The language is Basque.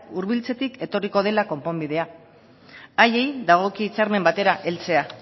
hurbiltzetik etorriko dela konponbidea haiei dagokie hitzarmen batera heltzea